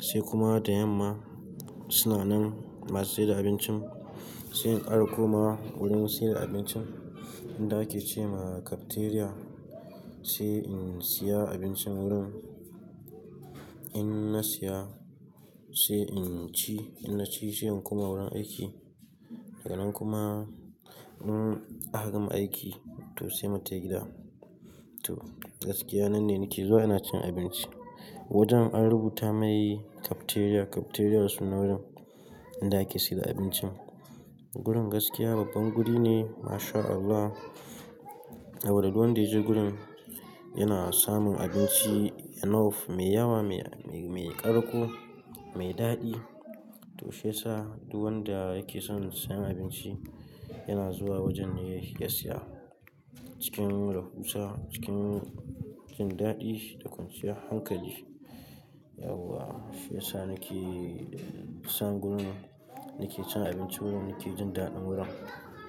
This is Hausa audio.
Sai kuma da yamma suna nan masu sayar da abincin sai in kara komawa wurin sayar da abincin inda ake ce ma cafeteria. Sai in siya abincin wurin in na siya sai in ci, in na ci sai in koma wurin aiki. Daga nan kuma in aka gama aiki to sai mu tafi gida. To gaskiya nan ne nake zuwa ina cin abinci. Wajen an rubuta mai cafeteria, cafeteria sunan wurin inda ake sayar da abincin. Wurin gaskiya babban guri ne masha Allah. Saboda duk wanda ya je gurin yana samun abinci enough mai yawa, mai ƙarko, mai daɗi. To shi yasa duk wanda yake son sayan abinci yana zuwa wajen ne ya siya cikin rahusa, cikin jin daɗi da kwanciya hankali. Yawwa shi yasa nake son wurin, nake cin abinci wurin, nake jin daɗin wurin.